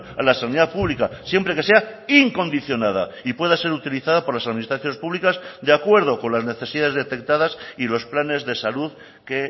a la sanidad pública siempre que sea incondicionada y pueda ser utilizada por las administraciones públicas de acuerdo con las necesidades detectadas y los planes de salud que